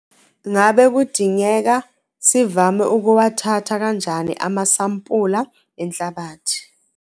Ngabe kudingeka sivame ukuwathatha kanjani amasampula enhlabathi?